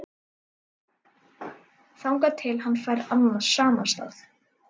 Þangað til hann fær annan samastað